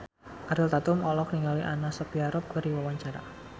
Ariel Tatum olohok ningali Anna Sophia Robb keur diwawancara